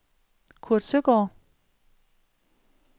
Kurt Søgaard